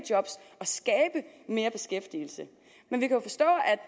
mere beskæftigelse men vi kan forstå